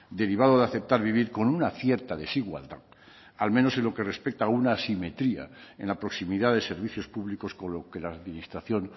derivado de aceptar vivir con una cierta desigualdad al menos con lo que respecta a una asimetría en la proximidad de servicios públicos con los que la administración